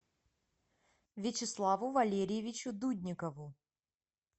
вячеславу валерьевичу дудникову